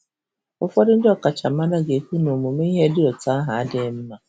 Ụfọdụ ndị ọkachamara ga-ekwu na ọmụmụ ihe dị otú ahụ adịghị mma.